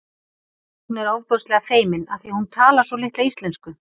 Hún er svo ofboðslega feimin af því að hún talar svo litla íslensku